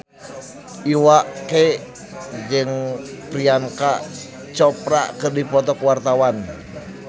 Iwa K jeung Priyanka Chopra keur dipoto ku wartawan